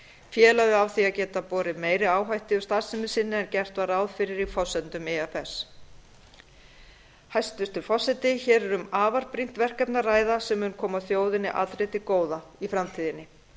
félagið á því að geta borið meiri áhættu í starfsemi sinni en gert var ráð fyrir í forsendum ifs hæstvirtur forseti hér er um afar brýnt verkefni að ræða sem mun koma þjóðinni allri til góða í framtíðinni